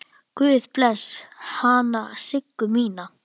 Guð blessi hana Siggu mína.